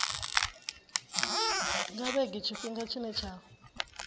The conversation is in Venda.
nga vhege tshifhinga tshine tsha